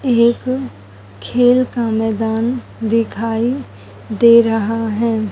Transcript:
एक खेल का मैदान दिखाई दे रहा है।